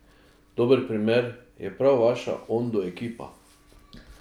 Dober primer je prav vaša Ondu ekipa.